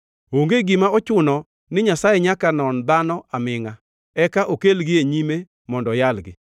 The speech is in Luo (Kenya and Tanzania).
Onge gima ochuno ni Nyasaye nyaka non dhano amingʼa eka okelgi e nyime mondo oyalgi.